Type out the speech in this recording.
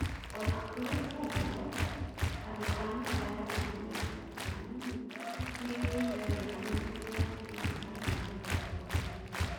Onakũrĩ ũguo andũa nyũmba yake maugĩte atĩ Kanini nĩaigwĩte wega na mwĩrĩ wake no ũrathiĩ na mbere kwagĩra